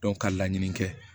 ka laɲini kɛ